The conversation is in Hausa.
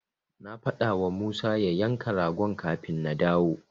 Na faɗawa Musa ya yanka ragon kafin na dawo.